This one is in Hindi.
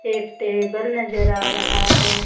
एक टेबल नजर आ रहा है.